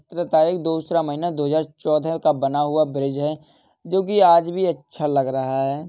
सतरह तारीख दूसरा महीना दो हजार चौदह का बना हुआ ब्रिज हैं जो की आज भी अच्छा लग रहा है।